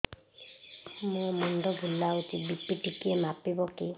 ମୋ ମୁଣ୍ଡ ବୁଲାଉଛି ବି.ପି ଟିକିଏ ମାପିବ କି